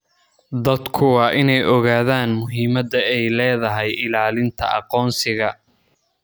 Dadku waa in ay ogaadaan muhiimadda ay leedahay ilaalinta aqoonsiga.